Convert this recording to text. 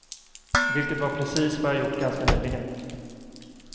Vilket var precis vad jag gjort ganska nyligen.